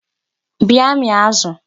Bịa mịa azụ!